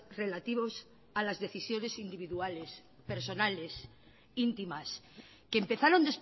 relativos a las decisiones individuales personales íntimas que empezaron